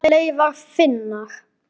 Far leiðar þinnar.